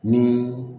Ni